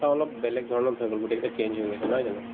অলপ বেলেগধৰণত হৈ গ'ল গোটেই কেইটা change হৈ গৈছে নহয় জানো